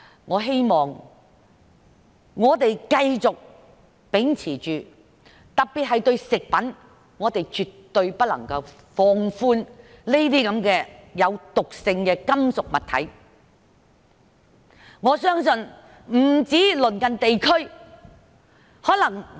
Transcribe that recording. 我希望我們繼續秉持這方向，特別是食品方面，我們絕對不能放寬對毒性金屬物質的限制。